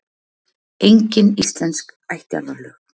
Engin íslensk ættjarðarlög.